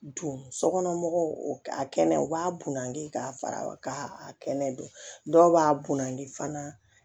Don sokɔnɔ mɔgɔw a kɛnɛ u b'a bunandi k'a fara k'a kɛnɛ don dɔw b'a bunadi fana